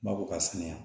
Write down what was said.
Baw ka sɛnɛ yan